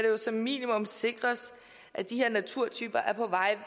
jo som minimum sikres at de her naturtyper er på vej